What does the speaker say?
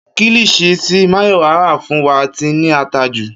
Kilichi tí Máyọ̀wá rà fún wa ti ní ata jù